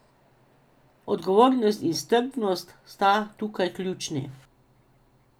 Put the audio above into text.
Odgovornost in strpnost sta tukaj ključni.